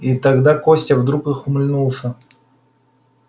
и тогда костя вдруг ухмыльнулся